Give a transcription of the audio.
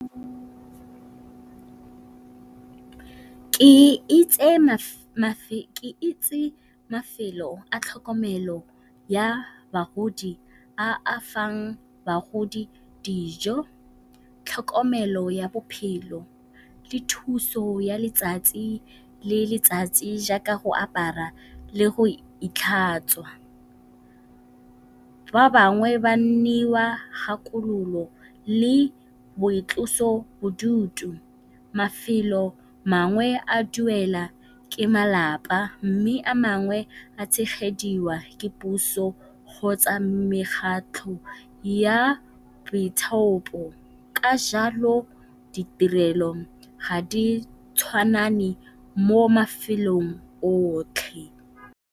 Ke itse mafelo a tlhokomelo ya bagodi a a fang bagodi dijo, tlhokomelo ya bophelo le thuso ya letsatsi le letsatsi jaaka go apara le go itlhatswa, ba bangwe ba neiwa kgakolo le boitlosobodutu. Mafelo mangwe a duela ke malapa mme a mangwe a tshegediwa ke puso kgotsa mekgatlho ya boithaopo. Ka jalo ditirelo ga di tshwane mo mafelong otlhe.